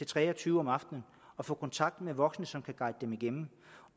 tre og tyve om aftenen og få kontakt med voksne som kan guide dem igennem